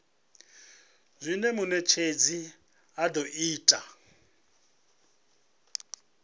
zwine munetshedzi a do ita